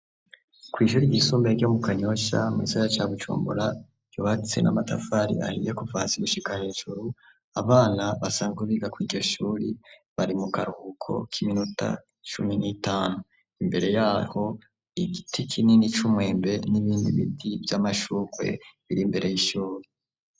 Kw'ishuri rgisumbae ryo mu kanyosha muzaya ca gucumbora yobatse na matafari ahiye kuvasa igushika hijuru abana basanzwa biga kw'igishuri bari mu karuhuko k'iminuta cumi n'itanu imbere yaho igiti kinini c'umwembe n'ibindi biti vy'amashukwe biri mbere ye ishuri.